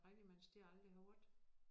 Rigtig mange steder jeg aldrig har været